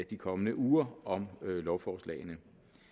de kommende uger om lovforslagene